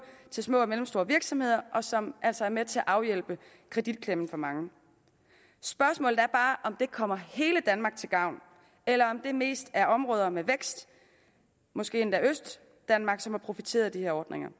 til små og mellemstore virksomheder og som altså er med til at afhjælpe kreditklemmen for mange spørgsmålet er bare om det kommer hele danmark til gavn eller om det mest er områder med vækst måske endda østdanmark som har profiteret af de her ordninger